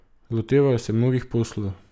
Lotevajo se mnogih poslov.